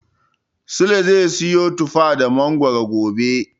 Sule zai siyo tufa da mangoro gobe.